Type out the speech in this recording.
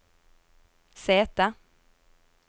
sete